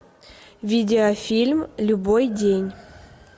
видеофильм любой день